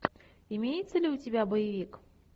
имеется ли у тебя боевик